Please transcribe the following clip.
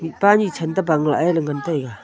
aga paa ni chanto bangla ee ngantaiga.